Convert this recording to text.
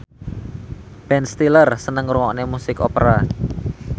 Ben Stiller seneng ngrungokne musik opera